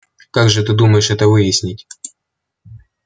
как же ты думаешь это выяснить